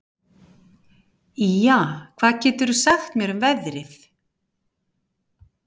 Ýja, hvað geturðu sagt mér um veðrið?